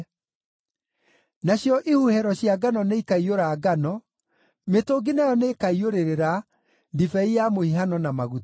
Nacio ihuhĩro cia ngano nĩikaiyũra ngano; mĩtũngi nayo nĩĩkaiyũrĩrĩra ndibei ya mũhihano na maguta.